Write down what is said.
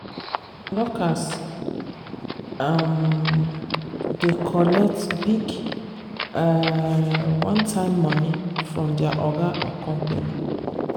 workers um dey collect big um one-time money from their oga or company.